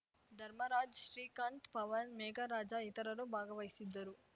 ಧರ್ಮರಾಜ್‌ ಶ್ರೀಕಾಂತ್‌ ಪವನ್‌ ಮೇಘರಾಜ ಇತರರು ಭಾಗವಹಿಸಿದ್ದರು